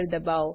દબાઓ